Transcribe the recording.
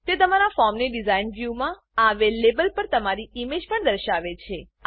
તે તમારા ફોર્મની ડીઝાઇન વ્યુમાં આવેલ લેબલ પર તમારી ઈમેજ પણ દર્શાવે છે